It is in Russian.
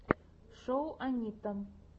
шоу анитта